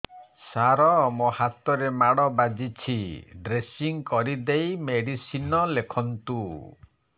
ସାର ମୋ ହାତରେ ମାଡ଼ ବାଜିଛି ଡ୍ରେସିଂ କରିଦେଇ ମେଡିସିନ ଲେଖନ୍ତୁ